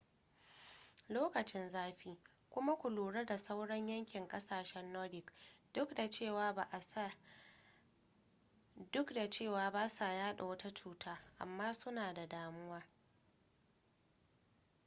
lokacin zafi kuma ku lura da sauron yankin ƙasashen nordic duk da cewa ba sa yaɗa wata cuta amma suna da damuwa